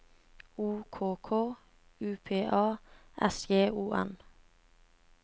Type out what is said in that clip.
O K K U P A S J O N